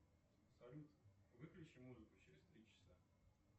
салют выключи музыку через три часа